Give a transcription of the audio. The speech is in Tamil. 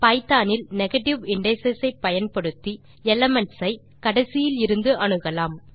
பைத்தோன் இல் நெகேட்டிவ் இண்டிஸ் ஐ பயன்படுத்தி எலிமென்ட்ஸ் ஐ கடைசியிலிருந்து அணுகலாம்